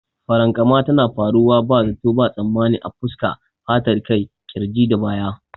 Farankama tana faruwa ba zato ba tsammani a fuska, fatar kai, kirji da baya.